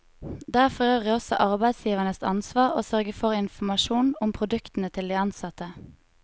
Det er forøvrig også arbeidsgivernes ansvar å sørge for informasjon om produktene til de ansatte.